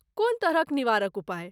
कोन तरहक निवारक उपाय?